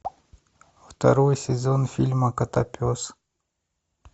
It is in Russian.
второй сезон фильма котопес